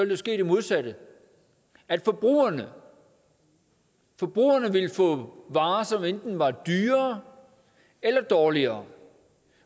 der ske det modsatte forbrugerne forbrugerne ville få varer som enten var dyrere eller dårligere